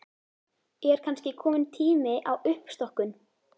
Er kannski kominn tími á uppstokkun?